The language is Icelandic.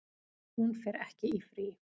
Hún fer ekki í frí.